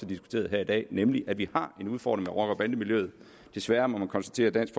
diskuteret her i dag nemlig at vi har en udfordring med rocker bande miljøet desværre må man konstatere at dansk